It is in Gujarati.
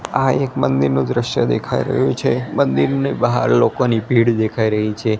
આ એક મંદિરનુ દ્રશ્ય દેખાઈ રહ્યુ છે મંદિરની બહાર લોકોની ભીડ દેખાઈ રહી છે.